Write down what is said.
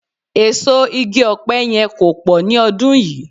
Èso igi ọ̀pẹ yẹn kò pọ̀ ni ọdún yìí